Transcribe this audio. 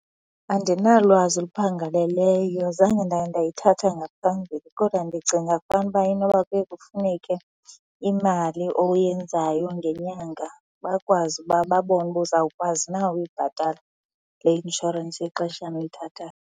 Andinalwazi oluphangaleleyo. Zange ndake ndayithatha ngaphambili kodwa ndicinga fanuba inoba kuye kufuneke imali oyenzayo ngenyanga bakwazi uba babone uba uzawukwazi na ukuyibhatala le inshorensi yexeshana uyithathayo.